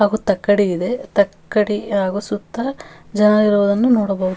ಮತ್ತು ತುಂಬಾ ಜನಗಳೂ ಮೀನನ್ನು ಆ ತೊಗೊಳಕ್ಕೆ ಬಂದಿದ್ದಾರೆ.